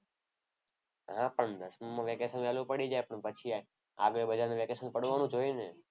હા પણ દસમામાં વેકેશન વહેલું પડી જાય પણ પછી આગળ બધાને વેકેશન પડવાનું જ હોય ને.